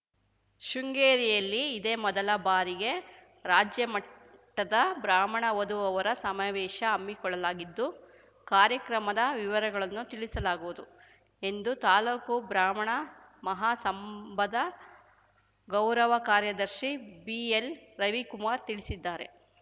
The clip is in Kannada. ಶೃಂಗೇರಿಯಲ್ಲಿ ಇದೇ ಮೊದಲ ಬಾರಿಗೆ ರಾಜ್ಯಮಟ್ಟದ ಬ್ರಾಹ್ಮಣ ವಧುವರರ ಸಮಾವೇಶ ಹಮ್ಮಿಕೊಳ್ಳಲಾಗಿದ್ದು ಕಾರ್ಯಕ್ರಮದ ವಿವರಗಳನ್ನು ತಿಳಿಸಲಾಗುವುದು ಎಂದು ತಾಲೂಕು ಬ್ರಾಹ್ಮಣ ಮಹಾಸಂಭದ ಗೌರವ ಕಾರ್ಯದರ್ಶಿ ಬಿಎಲ್‌ರವಿಕುಮಾರ್‌ ತಿಳಿಸಿದ್ದಾರೆ